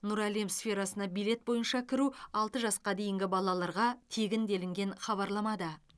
нұр әлем сферасына билет бойынша кіру алты жасқа дейінгі балаларға тегін делінген хабарламада